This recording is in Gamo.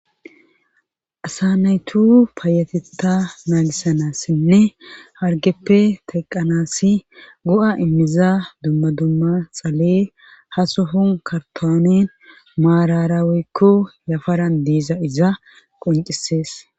Assa naytu paayatetta naagisanassinne hargeppe teqanassi go'a immiza dumma dumma xalee hasohon kartonin maarara woykko yafaran diiza iza qoncisees